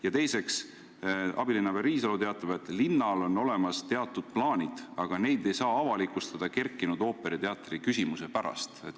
Ja teiseks: abilinnapea Riisalu teatab, et linnal on teatud plaanid olemas, aga neid ei saa avalikustada üles kerkinud ooperiteatri küsimuse pärast.